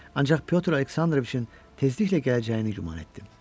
Ancaq Pyotr Aleksandroviçin tezliklə gələcəyini güman etdim.